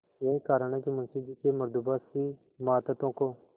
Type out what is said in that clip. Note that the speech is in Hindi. यही कारण है कि मुंशी जी के मृदुभाषी मातहतों को